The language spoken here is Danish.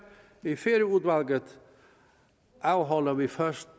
i færøudvalget afholder vi først